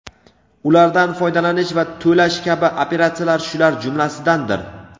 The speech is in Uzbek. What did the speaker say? ulardan foydalanish va to‘lash kabi operatsiyalar shular jumlasidandir.